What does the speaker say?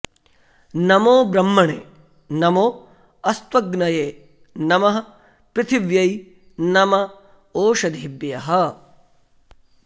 नमो॒ ब्रह्म॑णे॒ नमो॑ अस्त्व॒ग्नये॒ नमः॑ पृथि॒व्यै नम॒ ओष॑धीभ्यः